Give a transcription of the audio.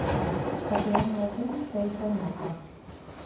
Kaféen var full, selv på en mandag.